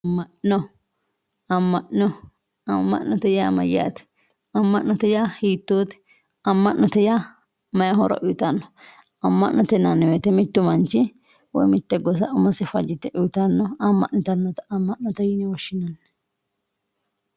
Aman`o aman`ote yaa mayate aman`ote yaa hiitote aman`ote yaa mayi horo uyitano aman`ote yinani woyite mittu manchi woyi mitte gosa umose fajite uyitanota aman`o aman`ote yine woshinani